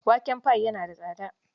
Waken pi yana da tsaka.